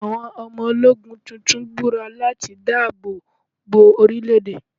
Àwọn ọmọ ológun tuntun búra láti dáàbò bo orílẹ̀ èdè.